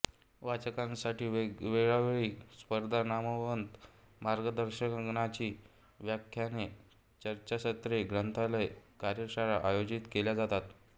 वाचकांसाठी वेळोवेळी स्पर्धा नामवंत मार्गदर्शकांची व्याख्याने चर्चासत्रे ग्रंथालय कार्यशाळा आयोजित केल्या जातात